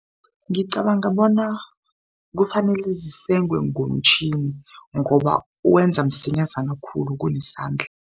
Ngicabanga bona kufanele zisengwe ngomtjhini ngoba wenza msinyazana khulu kunesandla.